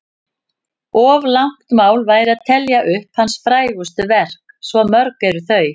Of langt mál væri að telja upp hans frægustu verk, svo mörg eru þau.